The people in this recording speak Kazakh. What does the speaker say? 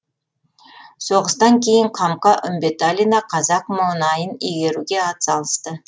соғыстан кейін қамқа үмбеталина қазақ мұнайын игеруге атсалысты